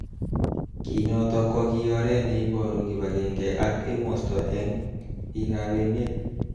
Kinotok ko ki oret neiboru kibagenge ak emosto eng bik ab emet.